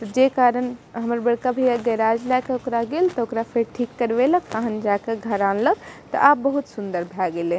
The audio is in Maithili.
जे कारण हमर बड़का भैया गैराज लाय के ओकरा गेल ते ओकरा फेर ठीक करवे लक तखन जा के घर आनलक ते आब बहुत सुन्दर भाय गेले।